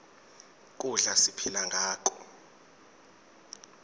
kudla siphila ngako